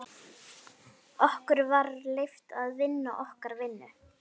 Okkur var leyft að vinna okkar vinnu.